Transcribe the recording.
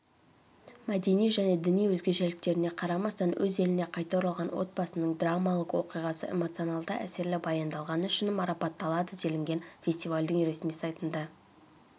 мәдени және діни өзгешеліктеріне қарамастан өз еліне қайта оралған отбасының драмалық оқиғасы эмоционалды әсерлі баяндалғаны үшін марапатталады делінген фестивальдің ресми сайтында